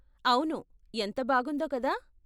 అవును! ఎంత బాగుందో కదా?